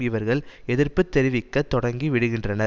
இவர்கள் எதிர்ப்பு தெரிவிக்கத் தொடங்கி விடுகின்றனர்